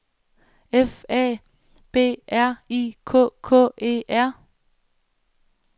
F A B R I K K E R